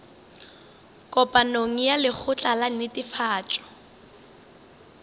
kopanong ya lekgotla la netefatšo